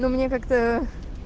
мне как-то